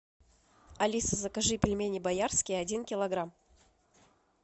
алиса закажи пельмени боярские один килограмм